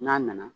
N'a nana